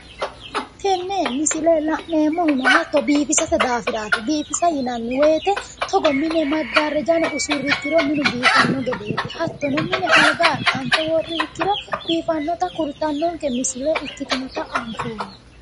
Tenne misile la'neemmohuno hatto biifisate daafiraati hatto biifisa yinanni woyiite togo mine maggarraja usurri ikkiro minu biifanno gedeeti hattono mine alga axxanfe worriha ikkiro biifannota kultannonke misile ikkase anfoommo